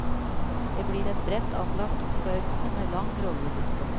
Det blir en bredt anlagt oppførelse med lang rolleliste.